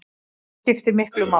Það skiptir miklu máli